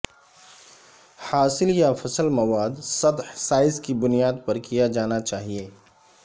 حاصل یا فصل مواد سطح سائز کی بنیاد پر کیا جانا چاہئے